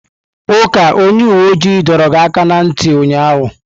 Uka onye uwe ojii dọọrọ gị aka na ntị ụnyaahụ!